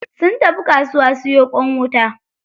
Sun tafi kasuwa siyo ƙwan wuta.